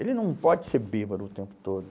Ele não pode ser bêbado o tempo todo.